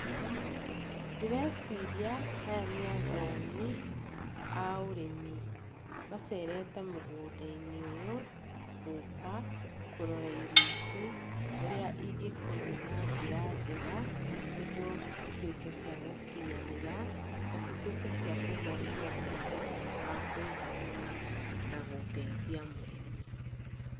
Ndĩreciria aya nĩ athomi a ũrĩmi, macerete mũgũnda-inĩ ũyũ gũka kũrora irio ici ũrĩa ingĩkũrio na njĩra njega, nĩguo cituĩke ciagũkinyanĩra, nacituĩke ciakũgĩa na maciaro ma kwĩiganĩra na gũteithia mũrĩmi.